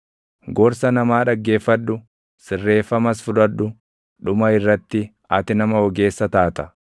Gorsa namaa dhaggeeffadhu; sirreeffamas fudhadhu; dhuma irratti ati nama ogeessa taata.